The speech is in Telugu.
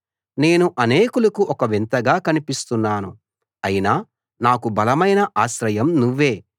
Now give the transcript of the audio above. నేను అనేకులకు ఒక వింతగా కనిపిస్తున్నాను అయినా నాకు బలమైన ఆశ్రయం నువ్వే